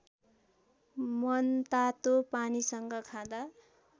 मनतातो पानीसँग खाँदा